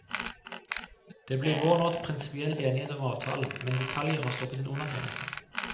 Det ble i vår nådd prinsipiell enighet om avtalen, men detaljer har stoppet en undertegnelse.